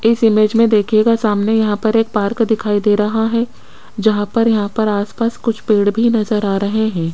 इस इमेज में देखिएगा सामने यहां पर एक पार्क दिखाई दे रहा है जहां पर यहां पर आस पास कुछ पेड़ भी नजर आ रहे हैं।